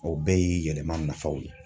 O bɛɛ ye yɛlɛma nafaw ye.